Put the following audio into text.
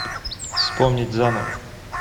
вспомнить заново